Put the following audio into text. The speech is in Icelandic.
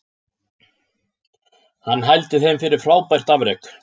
Hann hældi þeim fyrir frábært afrek